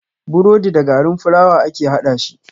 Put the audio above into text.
Burodi da garin fulawa ake haɗashi.